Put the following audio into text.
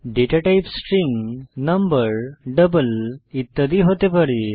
data type string number double ইত্যাদি হতে পারে